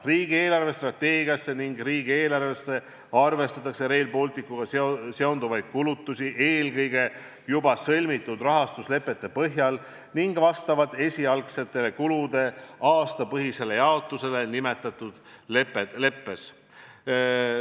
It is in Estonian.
Riigi eelarvestrateegiasse ning riigieelarvesse arvestatakse Rail Balticuga seonduvaid kulutusi eelkõige juba sõlmitud rahastuslepete põhjal ning vastavalt esialgsete kulude aastapõhisele jaotusele nimetatud leppes.